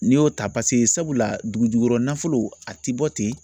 N'i y'o ta paseke sabula dugujugukɔrɔ nafolo a ti bɔ ten